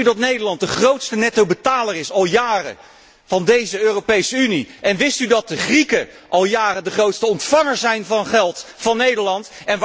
Wist u dat Nederland al jaren de grootste nettobetaler is van deze Europese Unie en wist u dat de Grieken al jaren de grootste ontvanger zijn van geld van Nederland.